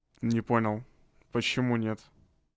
не понял почему нет